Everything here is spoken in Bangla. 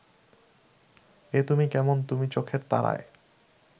এ তুমি কেমন তুমি চোখের তারায়